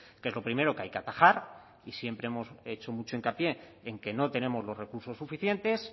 que es lo primero que hay que atajar y siempre hemos hecho mucho hincapié en que no tenemos los recursos suficientes